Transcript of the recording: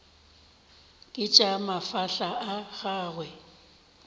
ke tša mafahla a gagwe